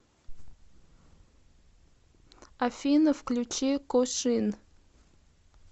афина включи кошин